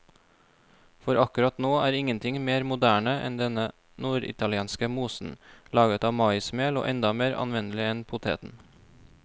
For akkurat nå er ingenting mer moderne enn denne norditalienske mosen, laget av maismel og enda mer anvendelig enn poteten.